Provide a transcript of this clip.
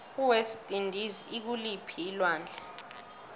iwest indies ikuliphii alwandle